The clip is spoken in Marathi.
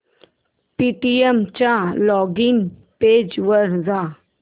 पेटीएम च्या लॉगिन पेज वर जा